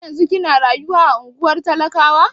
Har yanzun kina rayuwa a ungwar talakawa?